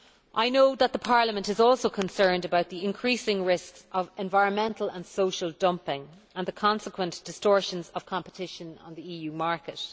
I know that Parliament is also concerned about the increasing risks of environmental and social dumping and the consequent distortions of competition on the EU market.